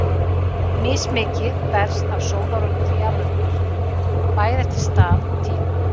Mismikið berst af sólarorku til jarðarinnar, bæði eftir stað og tíma.